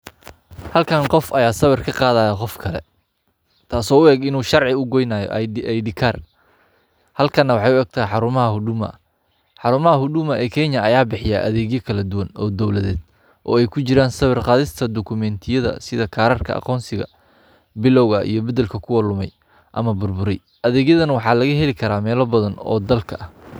Halkaani qof aya sawir kaa qadaya qof kale taaso uu eeg inu sharcii uu goynayo id kaar halkaana waxeyna uu eeg tahay xarumaha huduma xarumaha huduma ee kenya aya bixiya adegyaa kala duwaan oo dowladeed oo eey kujiran sawiir qadista dokumentyada sidaa kararkaa aqonsiga, bilowgaa iyo badelka kuwaa lumaay ama burburaay adeygyadan waxa lagaa helii kara melaa badan oo dalka aah.